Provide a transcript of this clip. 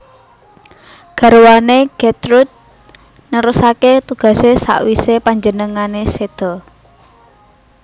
Garwané Gertrude nerusaké tugasé sawisé panjenengané séda